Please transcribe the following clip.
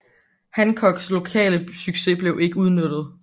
Hancocks lokale succes blev ikke udnyttet